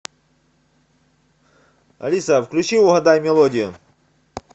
алиса включи угадай мелодию